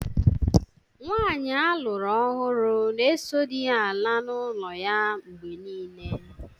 Nwaanyị aluru ọhụrụ na-eso di ya ala n’ụlọ ya mgbe niile.